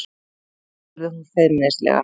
spurði hún feimnislega.